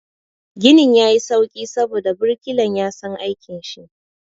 Ginin ya yi sauƙi saboda birkilan ya san aikin shi.